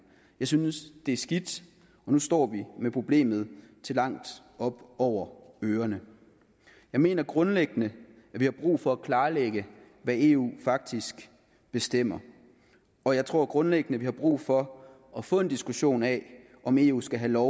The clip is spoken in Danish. jeg synes det er skidt og nu står vi med problemet til langt op over ørerne jeg mener grundlæggende at vi har brug for at klarlægge hvad eu faktisk bestemmer og jeg tror grundlæggende at vi har brug for at få en diskussion af om eu skal have lov